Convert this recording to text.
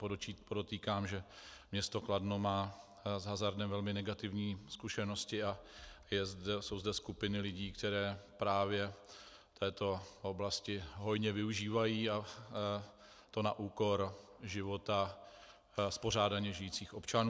Podotýkám, že město Kladno má s hazardem velmi negativní zkušenosti a jsou zde skupiny lidí, které právě této oblasti hodně využívají, a to na úkor života spořádaně žijících občanů.